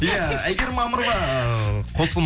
иә әйгерім мамырова ы